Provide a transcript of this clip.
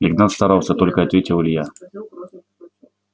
игнат старался только ответил илья